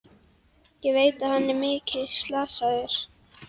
Ég veit að hann er mikið slasaður.